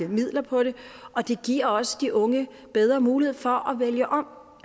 midler på det og det giver også de unge bedre mulighed for at vælge om